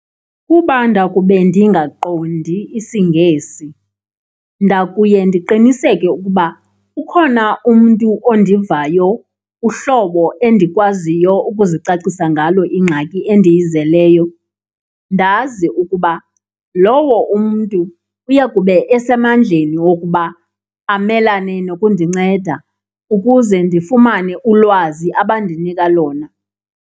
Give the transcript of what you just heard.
Kuba ndakube ndingaqondi isiNgesi, ndakuye ndiqiniseke ukuba ukhona umntu ondivayo uhlobo endikwaziyo ukuzicacisa ngalo ingxaki endiyizeleyo. Ndazi ukuba lowo umntu uyakube esemandleni wokuba amelane nokundinceda ukuze ndifumane ulwazi abandinika lona.